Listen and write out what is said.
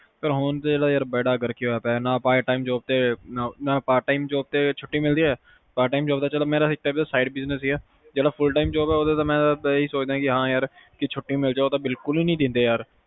ਯਾਰ ਹੁਣ ਤਾ ਬੇੜਾ ਗਰਕ ਹੀ ਹੋਇਆ ਪਿਆ ਨਾ part time ਤੇ ਛੁਟੀ ਮਿਲਦੀ ਆ part time ਚਲੋ ਤਾ ਮੇਰਾ side business ਹੀ ਆ ਜਿਹੜਾ full time job ਆ ਮੈਂ ਤਾ ਆਹੀ ਸੋਚਦਾ ਕੇ ਛੁਟੀ ਮਿਲਜੇ ਪਰ ਉਹ ਤਾ ਬਿਲਕੁਲ ਹੀ ਨੀ ਦਿੰਦੇ ਯਰ